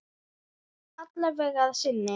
Alla vega að sinni.